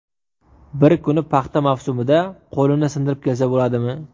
Bir kuni paxta mavsumida qo‘lini sindirib kelsa bo‘ladimi?